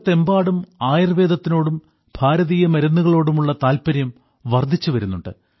ലോകത്തെമ്പാടും ആയുർവേദത്തിനോടും ഭാരതീയ മരുന്നുകളോടുമുള്ള താല്പര്യം വർദ്ധിച്ചു വരുന്നുണ്ട്